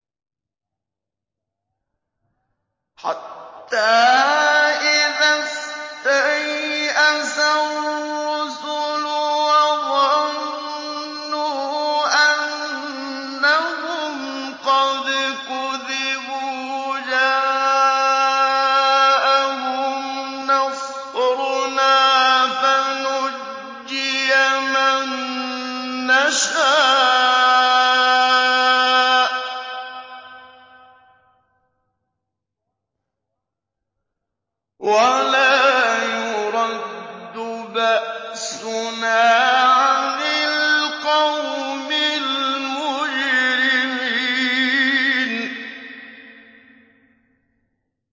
حَتَّىٰ إِذَا اسْتَيْأَسَ الرُّسُلُ وَظَنُّوا أَنَّهُمْ قَدْ كُذِبُوا جَاءَهُمْ نَصْرُنَا فَنُجِّيَ مَن نَّشَاءُ ۖ وَلَا يُرَدُّ بَأْسُنَا عَنِ الْقَوْمِ الْمُجْرِمِينَ